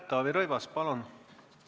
Taavi Rõivas, palun!